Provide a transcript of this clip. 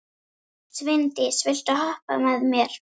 Sveindís, viltu hoppa með mér?